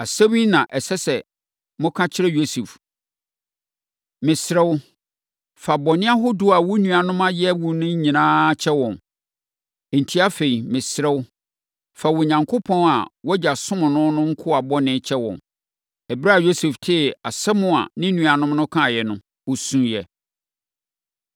‘Asɛm yi na ɛsɛ sɛ moka kyerɛ Yosef: Mesrɛ wo, fa bɔne ahodoɔ a wo nuanom ayɛ wo no nyinaa kyɛ wɔn.’ Enti, afei mesrɛ wo, fa Onyankopɔn a wʼagya somm no no nkoa bɔne kyɛ wɔn.” Ɛberɛ a Yosef tee asɛm a ne nuanom no kaeɛ no, ɔsuiɛ.